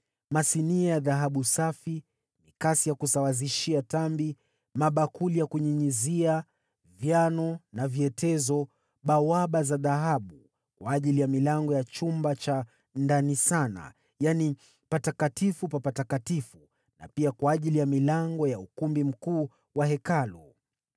masinia ya dhahabu safi, mikasi ya kusawazishia tambi, mabakuli ya kunyunyizia, vyano na vyetezo; na bawaba za dhahabu kwa ajili ya milango ya chumba cha ndani sana, yaani Patakatifu pa Patakatifu, na pia kwa ajili ya milango ya ukumbi mkuu wa Hekalu.